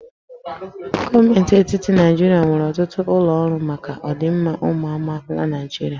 Gọọmenti etiti Naijiria nwere ọtụtụ ụlọ ọrụ maka ọdịmma ụmụ amaala Naịjirịa